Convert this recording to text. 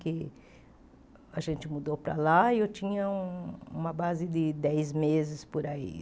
Que a gente mudou para lá e eu tinha um uma base de dez meses por aí.